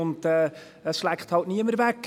Dies schleckt halt niemand weg: